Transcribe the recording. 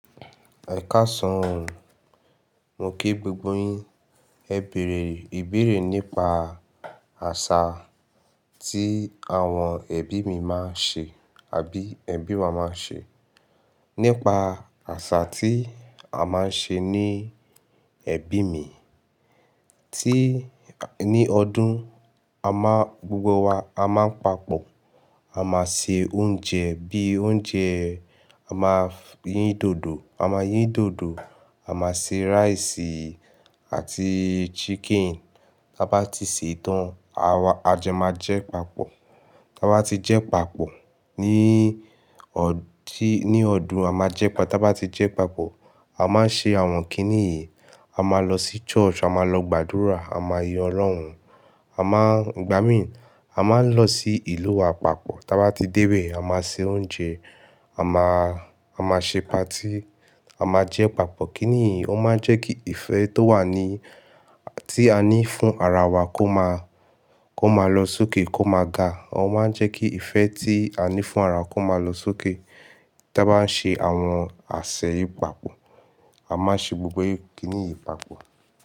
Ẹ̀kàsán, mo kí gbogbo yín. Ẹ bèrè ìbéèrè nípa àṣà tí àwọn ẹbí mi máa ń ṣe àbí ẹbí wa máa ń ṣe. Nípa àṣà tí a máa ń ṣe ní ẹbí mi, tí ní ọdún a máa gbogbo wa a máa ń papọ̀, a máa ṣe oúnjẹ bí i oúnjẹ, a máa yín dòdò, a máa yín dòdò, a máa se rice àti chicken. Tábá ti ṣètán, ajo máa jẹ papọ̀. Tábá ti jẹ papọ̀ ní ọdún, ní ọdún a máa jẹ papọ̀. Tábá ti jẹ papọ̀, a máa ṣe àwọn kiní yìí, a máa lọ sí church, a máa lọ gbàdúrà, a máa yin Ọlọ́run, a máa igbami, a máa lọ sí ìlú wa papọ̀. Tábá ti dé ìbé, a máa ṣe oúnjẹ, a máa, a máa ṣe party, a máa jẹ papọ̀. Kíniyii ò máa ń jẹ́ kí ìfẹ́ tó wà ní, tí a ní fún ara wa kó máa, kó máa lọ sókè, kó máa ga. Ò máa ń jẹ́ kí ìfẹ́ tí a ní fún ara kó máa lọ sókè. Tábá ń ṣe àwọn àsèyí papọ̀, a máa ṣe gbogbo kiní yìí papọ̀